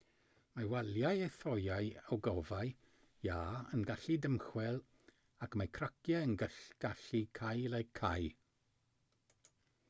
mae waliau a thoeau ogofâu iâ yn gallu dymchwel ac mae craciau yn gallu cael eu cau